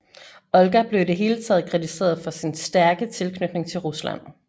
Olga blev i det hele taget kritiseret for sin stærke tilknytning til Rusland